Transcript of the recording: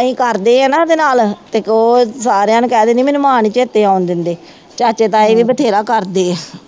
ਅਸੀਂ ਕਰਦੇ ਹਾਂ ਨਾ ਇਹਦੇ ਨਾਲ ਅਤੇ ਇੱਕ ਉਹ ਸਾਰਿਆਂ ਨੂੰ ਕਹਿ ਦਿੰਦੀ ਮੈਨੂੰ ਮਾਂ ਨਹੀਂ ਚੇਤੀ ਆਉਂਣ ਦਿੰਦੀ, ਚਾਚੇ ਤਾਏ ਵੀ ਬਥੇਰਾ ਕਰਦੇ ਹੈ